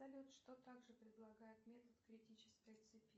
салют что так же предлагает метод критической цепи